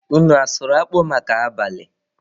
Unu asụrụ akpụ maka abalị?